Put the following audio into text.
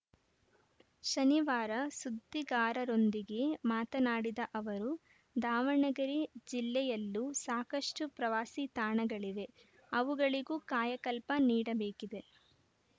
ಶನಿವಾರ ಸುದ್ದಿಗಾರರೊಂದಿಗೆ ಮಾತನಾಡಿದ ಅವರು ದಾವಣಗೆರೆ ಜಿಲ್ಲೆಯಲ್ಲೂ ಸಾಕಷ್ಟುಪ್ರವಾಸಿ ತಾಣಗಳಿವೆ ಅವುಗಳಿಗೂ ಕಾಯಕಲ್ಪ ನೀಡಬೇಕಿದೆ